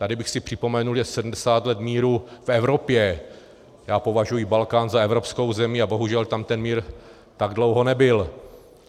Tady bych si připomenul, že 70 let míru v Evropě - já považuji Balkán za evropskou zemi a bohužel tam ten mír tak dlouho nebyl.